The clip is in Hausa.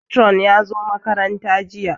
Patron ya zo makaranta jiya